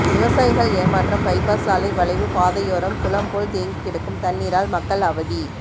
விவசாயிகள் ஏமாற்றம் பைபாஸ் சாலை வளைவு பாதையோரம் குளம் போல் தேங்கி கிடக்கும் தண்ணீரால் மக்கள் அவதி